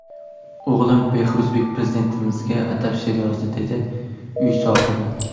O‘g‘lim Behruzbek Prezidentimizga atab she’r yozdi”, dedi uy sohibi.